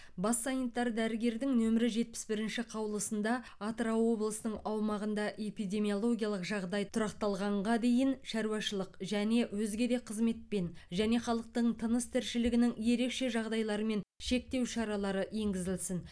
бас санитар дәрігердің нөмірі жетпіс бірінші қаулысында атырау облысының аумағында эпидемиологиялық жағдай тұрақталғанға дейін шаруашылық және өзге де қызметпен және халықтың тыныс тіршілігінің ерекше жағдайларымен шектеу шаралары енгізілсін